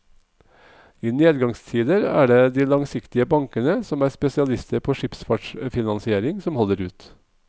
I nedgangstider er det de langsiktige bankene, som er spesialister på skipsfartsfinansiering, som holder ut.